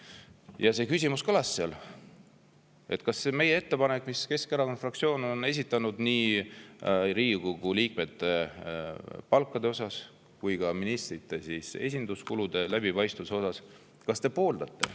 Ja see küsimus kõlas seal: kas te pooldate meie ettepanekut, mille Keskerakonna fraktsioon on esitanud, nii Riigikogu liikmete palkade kui ka ministrite esinduskulude läbipaistvuse kohta?